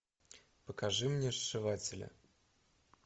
покажи мне сшиватели